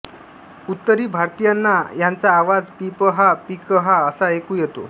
उत्तरी भारतीयांना याचा आवाज पीपहा पीकहां असा ऐकू येतो